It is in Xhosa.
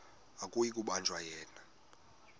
akuyi kubanjwa yena